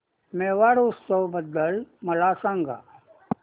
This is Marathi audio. मेवाड उत्सव बद्दल मला सांग